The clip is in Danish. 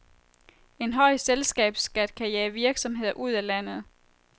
En høj selskabsskat kan jage virksomheder ud af landet.